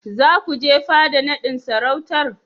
Za ku je fada naɗin sarautar?